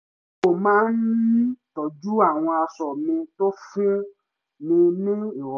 mo má ń tọ́jú àwọn aṣọ mi tó fún ni ní ìrọ̀rùn